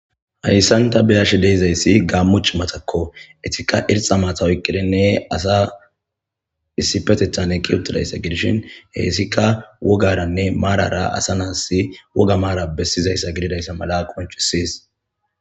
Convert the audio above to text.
hayssanta beyash deezayssi gaammuch matakko etikka irxa maatawoyqqidinne asa issipetethan eqqi utidayssa gidishin heessika wogaranne maarara asa naas woga maara bessizayssa gididayssa mala qoncusis